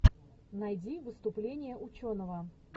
найди выступление ученого